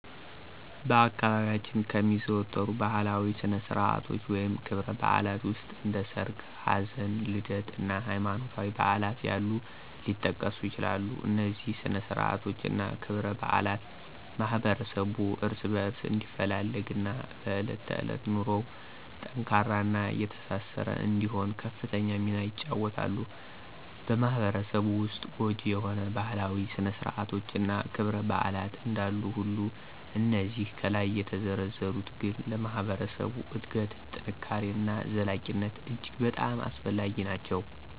በአካባቢያችን ከሚዘወተሩ ባህላዊ ስነ-ስርዓቶች ወይም ክብረ-በዓላት ዉስጥ እንደ ሠርግ፣ ሀዘን፣ ልደት እና ሀይማኖታዊ በዓላት ያሉት ሊጠቀሱ ይችላሉ፤ እነዚህ ስነ-ስርዓቶች እና ክብረ-በዓላት ማህበረሠቡ እርስ በእርስ እንዲፈላለግ እና በእለት ተዕለት ኑሮው ጠንካራ እና የተሳሰረ እንዲሆን ከፍተኛ ሚና ይጫወተሉ። በማህበረሰቡ ዉስጥ ጐጂ የሆኑ ባህላዊ ስነ- ስርአቶች እና ክብረ -በዓላት እንዳሉ ሁሉ እነዚህ ከላይ የተዘረዘሩት ግን ለማህበረሰብ እድገት፣ ጥንካሬ እና ዘላቂነት እጅግ በጣም አስፈላጊ ናቸው።